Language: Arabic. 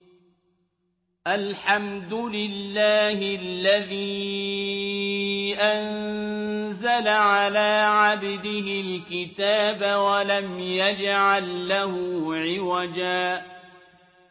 الْحَمْدُ لِلَّهِ الَّذِي أَنزَلَ عَلَىٰ عَبْدِهِ الْكِتَابَ وَلَمْ يَجْعَل لَّهُ عِوَجًا ۜ